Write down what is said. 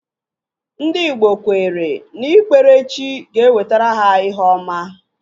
Ndị igbo kweere na ikpere chi ga-ewetara ha ihe ọma